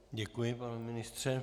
Děkuji, pane ministře.